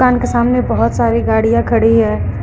दुकान के सामने बहुत सारी गाड़ियां खड़ी हैं।